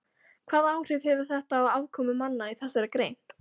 Hvaða áhrif hefur þetta á afkomu manna í þessari grein?